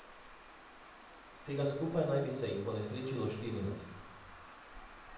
Vsega skupaj naj bi se jih ponesrečilo štirinajst.